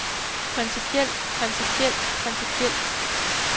principielt principielt principielt